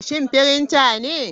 Shin printer ne?